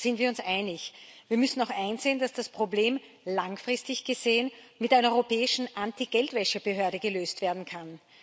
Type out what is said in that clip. Da sind wir uns einig. Wir müssen auch einsehen, dass das Problem langfristig gesehen mit einer europäischen Antigeldwäsche Behörde gelöst werden kann.